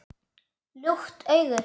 Lukt augu